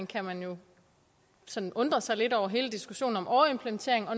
kan man jo sådan undre sig lidt over hele diskussionen om overimplementering og